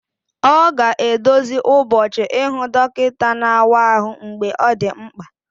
Ọ ga-edozi ụbọchị ịhụ dọkịta na-awa ahụ mgbe ọ dị mkpa